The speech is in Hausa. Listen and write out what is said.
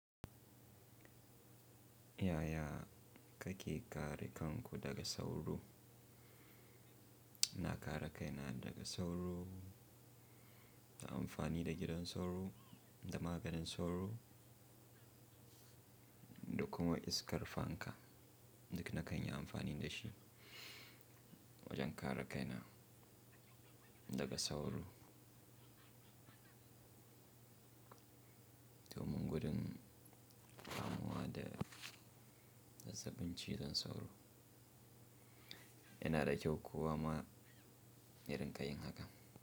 Yaya kake kare kanku daga sauro? Na kare kaina daga sauro ta amfani da gidan sauro da maganin sauro da kuma iskar fanka. Duk na kan yi amfani da shi wajen kare kaina daga sauro. Domin gudun damuwa da zazzabin cizon sauro. Yana da kyau kowa ma ya dinga yin haka.